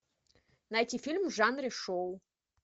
найти фильм в жанре шоу